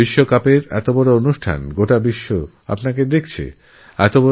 world cup বড় একটি আয়োজন যেখানেগোটা বিশ্বের নজর আছে আপনার উপর